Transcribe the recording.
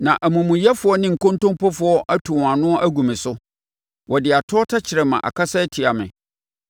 na amumuyɛfoɔ ne nkontompofoɔ atu wɔn ano agu me so; wɔde atorɔ tɛkrɛma akasa atia me.